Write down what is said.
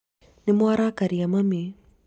nĩmwarakaria mami